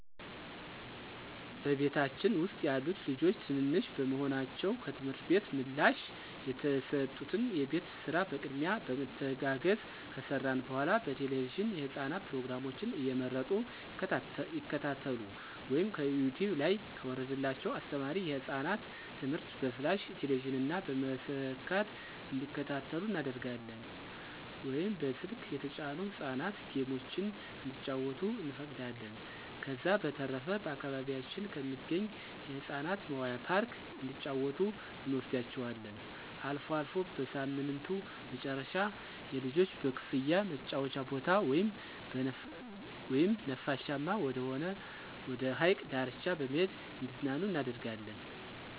በቤታችን ውስጥ ያሉት ልጆች ትንንሽ በመሆናቸው ከትምህርት ቤት ምላሽ የተሰጡትን የቤት ስራ በቅድሚያ በመተጋገዝ ከሰራን በኃላ በቴለቪዥን የህፃናት ፕሮግራሞችን እየመረጡ ይከታተሉ ወይም ከዩቲውብ ላይ ከወረደላቸው አስተማሪ የህፃናት ትምህርቶችን በፍላሽ ቴሌቪዥን ላይ በመሰካት እንዲከታተሉ እናደርጋለን ወይም በስልክ የተጫኑ የህፃናት ጌሞችን እንዲጫወቱ እንፈቅዳለን። ከዛ በተረፈ በአካባቢያችን ከሚገኝ የህፃናት መዋያ ፓርክ እንዲጫወቱ እንወስዳቸዋለን። አልፎ አልፎ በሳምንቱ መጨረሻ የልጆች በክፍያ መጫወቻ ቦታ ወይም ነፋሻማ ወደሆነ ወደ ሀይቅ ዳርቻ በመሄድ እንዲዝናኑ እናደርጋለን።